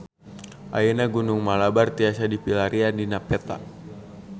Ayeuna Gunung Malabar tiasa dipilarian dina peta